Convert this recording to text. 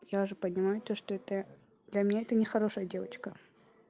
я же понимаю то что это для меня это нехорошая девочка